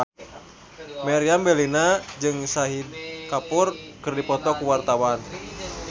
Meriam Bellina jeung Shahid Kapoor keur dipoto ku wartawan